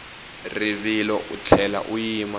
rivilo u tlhela u yima